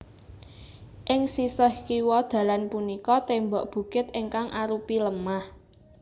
Ing sisih kiwa dalan punika tembok bukit ingkang arupi lemah